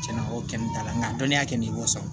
Tiɲɛna o kɛnɛ t'a la nka dɔnniya kɛ nin y'o sɔrɔ